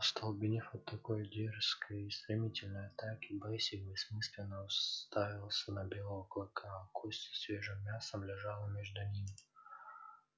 остолбенев от такой дерзкой и стремительной атаки бэсик бессмысленно уставился на белого клыка а кость со свежим мясом лежала между ними